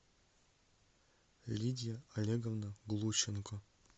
лидия олеговна глущенко